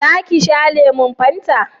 za ki sha lemun fanta?